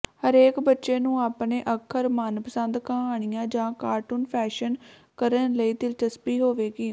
ਹਰੇਕ ਬੱਚੇ ਨੂੰ ਆਪਣੇ ਅੱਖਰ ਮਨਪਸੰਦ ਕਹਾਣੀਆਂ ਜਾਂ ਕਾਰਟੂਨ ਫੈਸ਼ਨ ਕਰਨ ਲਈ ਦਿਲਚਸਪੀ ਹੋਵੇਗੀ